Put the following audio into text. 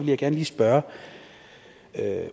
jeg gerne lige spørge